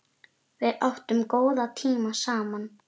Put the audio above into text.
Við áttum góða tíma saman